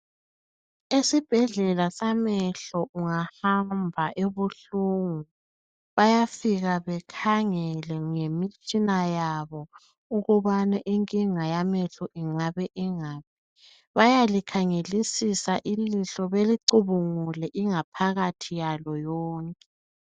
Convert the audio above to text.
Esibhedlela samehlo ungahamba ebuhlungu, bayafika bakhangele ngemitshina yabo ukubana inkinga yamehlo ingabe ingaphi. Bayalikhangelisisa ilihlo belicubungule ingaphakathi yalo yonke.